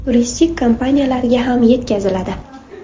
Turistik kompaniyalarga ham yetkaziladi.